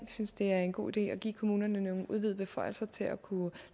synes det er en god idé at give kommunerne nogle udvidede beføjelser til at kunne